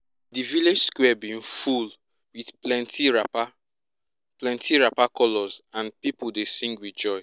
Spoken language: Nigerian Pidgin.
di village square bin full with plenty wrapper plenty wrapper colours and people dey sing with joy